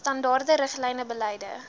standaarde riglyne beleide